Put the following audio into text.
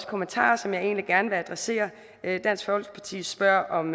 kommentarer som jeg egentlig gerne vil adressere dansk folkeparti spørger om